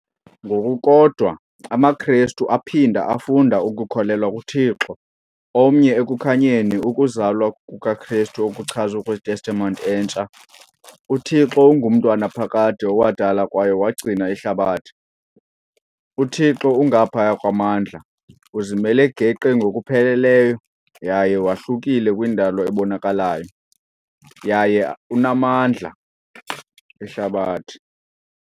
Ngokukodwa, amaKristu aphinda afunda ukukholelwa kuThixo omnye ekukhanyeni ukuzalwa kukaKristu okuchazwe kwiTestamente Entsha . UThixo unguMntu wanaphakade owadala kwaye wagcina ihlabathi. uThixo ungaphaya kwamandla, uzimele geqe ngokupheleleyo yaye wahlukile kwindalo ebonakalayo, yaye unamandla, ihlabathi.